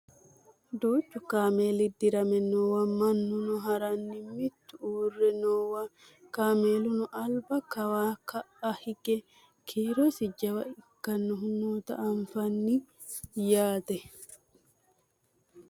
Duuchu kameeli dirame noowa mannino haranni mitu uurre noowa kameeluno alba kawanna ka'a hige kiirosi jawa ikkinohu noota anfanni yaate